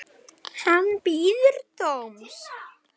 Hann bíður dóms.